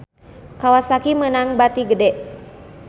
Kawasaki meunang bati gede